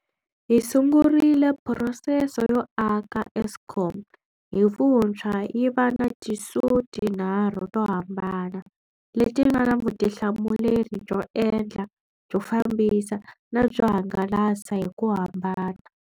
Hi sungurile phurosese yo aka Eskom hi vuntshwa yi va na tiSOE ti nharhu to hambana, leti nga na vutihlamuleri byo endla, byo fambisa na byo hangalasa, hi ku hambana.